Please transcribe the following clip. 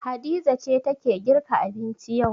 Hadiza ce take girka abinci yau.